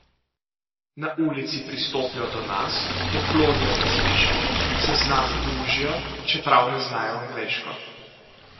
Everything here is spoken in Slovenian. Na ulici pristopijo do nas, poklonijo nasmešek, se z nami družijo, čeprav ne znajo angleško.